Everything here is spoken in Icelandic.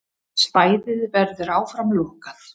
Svæðið verður áfram lokað.